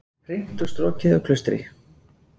Hreint og strokið á Klaustri